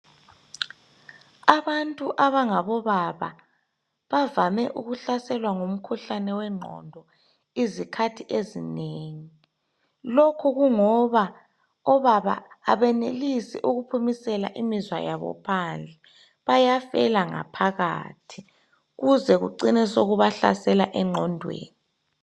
Abantu abango baba bavame ukuhlaselwa ngumkhuhlane wengqondo izikhathi ezinengi lokhu kungoba obaba abenelisi ukuphumisela imizwa yabo phandle bayafela ngaphakathi kuze kucine sokubahlasela engqondweni.